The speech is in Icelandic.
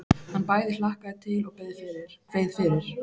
Hann bæði hlakkaði til og kveið fyrir.